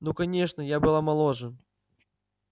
ну конечно и я была моложе